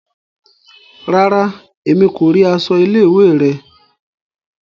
Ràrá, Èmí ko ríi aṣọ ilé-ìwé rẹ